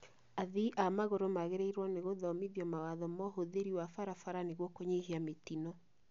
Athii a magũrũ magĩrĩrĩirwo nĩgũthomithio mawatho ma ũhũthĩri wa barabara nĩguo kũnyihia mĩtino